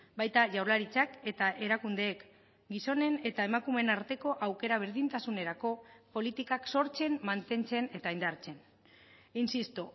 baita jaurlaritzak eta erakundeek gizonen eta emakumeen arteko aukera berdintasunerako politikak sortzen mantentzen eta indartzen insisto